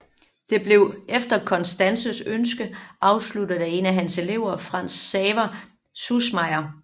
Det blev efter Constanzes ønske afsluttet af en af hans elever Franz Xaver Süssmayer